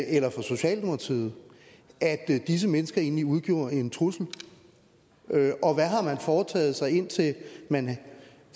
eller for socialdemokratiet at disse mennesker egentlig udgjorde en trussel og hvad har man foretaget sig indtil man